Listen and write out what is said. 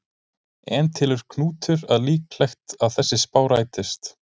En telur Knútur líklegt að þessi spá rætist?